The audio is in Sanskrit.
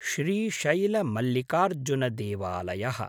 श्रीशैल मल्लिकार्जुनदेवलायः